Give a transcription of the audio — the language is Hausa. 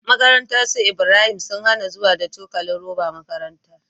Makarantar su Ibrahim sun hAna zuwa da cokalin roba makarantar